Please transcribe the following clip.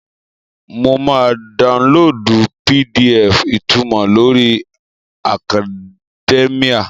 Mo máa daunlóòdù PDF ìtunmọ̀ lórí akadẹ́míà